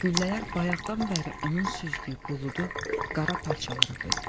Güllələr bayaqdan bəri onun süzdüyü buludu qara parçalara böldü.